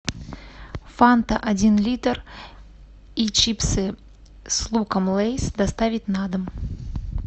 фанта один литр и чипсы с луком лейс доставить на дом